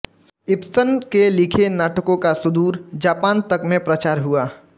Ibsen के लिखे नाटकों का सुदूर जापान तक में प्रचार हुआ